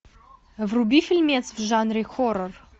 вруби фильмец в жанре хоррор